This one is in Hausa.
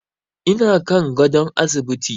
Ina kan gadon asibiti.